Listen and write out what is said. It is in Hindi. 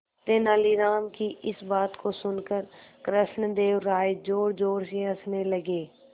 तेनालीराम की इस बात को सुनकर कृष्णदेव राय जोरजोर से हंसने लगे